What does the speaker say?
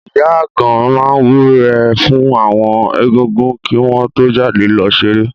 Ìyá Àgan máa wúre fún àwọn Egúngún kí wọ́n tó jáde lọ ṣeré.